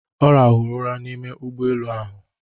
Ọ rahụrụ ụra n'ime ụgbọ elu ahụ.